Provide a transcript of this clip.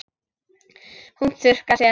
Hún þurrkar sér.